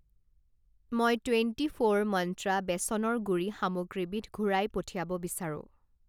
মই twenty four মন্ত্ৰা বেচনৰ গুড়ি সামগ্ৰীবিধ ঘূৰাই পঠিয়াব বিচাৰোঁ।